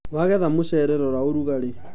wagetha mũcere rora ũrugarĩ..